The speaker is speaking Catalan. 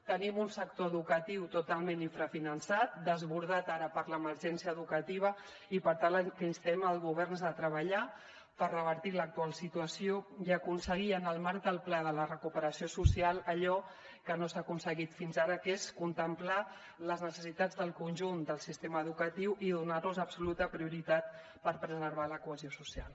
tenim un sector educatiu totalment infrafinançat desbordat ara per l’emergència educativa i per tant al que instem el govern és a treballar per revertir l’actual situació i aconseguir en el marc del pla de recuperació social allò que no s’ha aconseguit fins ara que és contemplar les necessitats del conjunt del sistema educatiu i donarlos absoluta prioritat per preservar la cohesió social